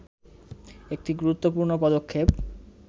একটি গুরুত্বপূর্ণ পদক্ষেপ